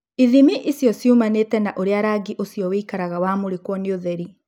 Ithimi icio ciumanĩte na ũrĩa rangi ũcio wĩkaraga wamũrĩkwo nĩ ũtheri.